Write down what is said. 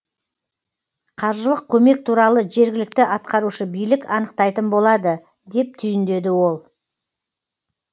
қаржылық көмек туралы жергілікті атқарушы билік анықтайтын болады деп түйіндеді ол